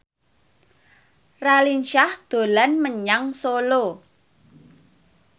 Raline Shah dolan menyang Solo